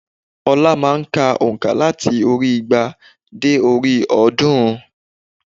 Ọlá má a n ka ònkà láti orí i igba dé orí i ọ̀ọ́dúnrún